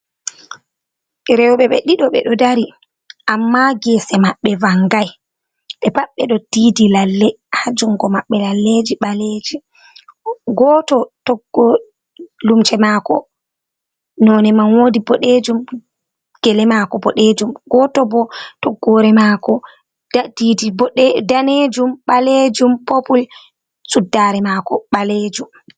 Rewɓe be ɗiɗo ɓe ɗo dari, amma geese maɓɓe vanngay, ɓe pat ɓe ɗo diidi lalle haa junngo maɓɓe, lalleeji ɓaleeji, gooto toggol lumse maako nonde man woodi boɗeejum, gele maako bodeejum, gooto bo toggoore maako diidi daneejum, ɓaleejum, popul, suddaare maako ɓaleejum.